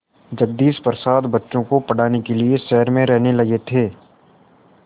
जगदीश प्रसाद बच्चों को पढ़ाने के लिए शहर में रहने लगे थे